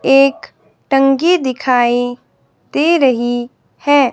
एक टंकी दिखाईं दे रहीं हैं।